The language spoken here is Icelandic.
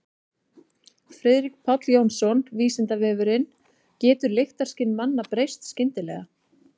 Friðrik Páll Jónsson: Vísindavefurinn: Getur lyktarskyn manna breyst skyndilega?